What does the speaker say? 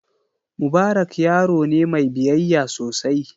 Mubarak yaro ne mai biyayya sosai.